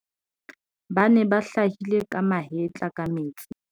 ba ne ba hlahile ka mahetla ka metsing